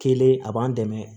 Kelen a b'an dɛmɛ